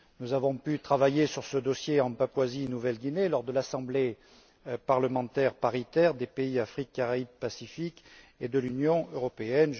Nous avons pu travailler sur ce dossier en Papouasie Nouvelle Guinée lors de l'Assemblée parlementaire paritaire des pays d'Afrique, des Caraïbes et du Pacifique, et de l'Union européenne.